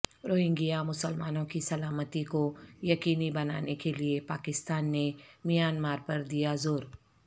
Rohingya مسلمانوں کی سلامتی کو یقینی بنانے کیلئے پاکستان نے میانمار پر دیا زور